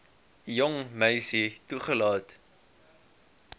jong meisie toelaat